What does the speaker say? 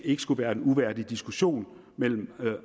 ikke skulle være en uværdig diskussion mellem